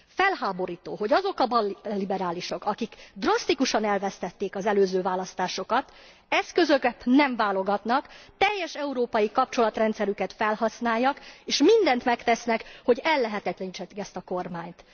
Felháborító, hogy azok a balliberálisok, akik drasztikusan elvesztették az előző választásokat, eszközökben nem válogatnak, teljes európai kapcsolatrendszerüket felhasználják és mindent megtesznek, hogy ellehetetlenítsék ezt a kormányt.